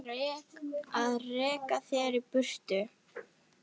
Að reka þig í burtu!